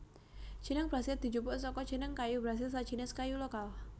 Jeneng Brasil dijupuk saka jeneng kayu brasil sajinis kayu lokal